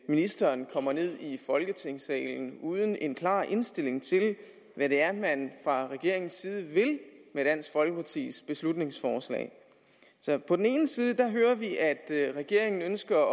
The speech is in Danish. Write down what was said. ministeren kommer ned i folketingssalen uden en klar indstilling til hvad det er man fra regeringens side vil med dansk folkepartis beslutningsforslag på den ene side hører vi at regeringen ønsker at